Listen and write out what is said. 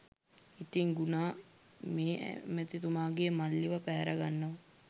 ඉතින් ගුනා මේ ඇමතිතුමාගේ මල්ලිව පැහැරගන්නවා